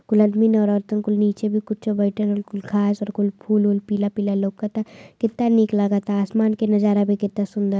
कुल आदमी औरतन कुल नीचे भी कुछ बइठल हउवन। कुल घास और कुछ फूल उल पीला पीला लऊकता। कितना निक लागता। आसमान के नज़ारा भी केतना सुन्दर --